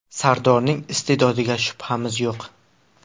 Sardorning iste’dodiga shubhamiz yo‘q.